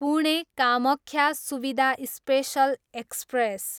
Pune, Kamakhya Suvidha special express